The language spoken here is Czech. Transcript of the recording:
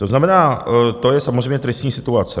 To znamená, to je samozřejmě tristní situace.